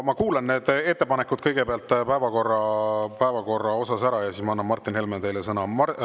Ma kuulan kõigepealt ettepanekud päevakorra kohta ära ja siis ma annan, Martin Helme, teile sõna.